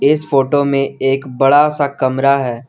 इस फोटो में एक बड़ा सा कमरा है।